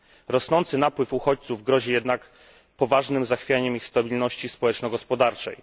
Rosnący napływ uchodźców grozi jednak poważnym zachwianiem ich stabilności społeczno gospodarczej.